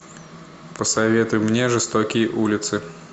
посоветуй мне жестокие улицы